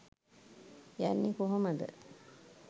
යන්නේ කොහොමද